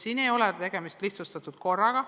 Siin ei ole tegemist lihtsustatud korraga.